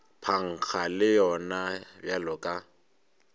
phankga le yona bjalo ka